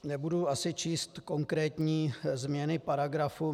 Nebudu asi číst konkrétní změny paragrafu.